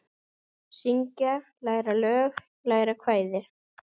Syngja- læra lög- læra kvæði